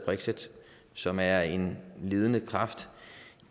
brexit som er en ledende kraft